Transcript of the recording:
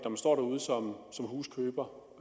som huskøber